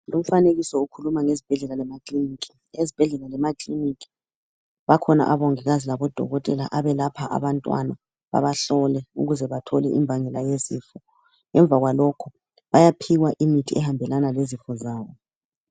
Lumfanekiso ukhuluma ngezibhedlela lamakilinika. Ezibhedlela lemakiliniki bakhona odokotela labomongikazi abelapha abantwana babahlola ukuze bathole imbangela yezifo Ngemva kwalokho bayaphiwa imithi ehambelana lezifo zabo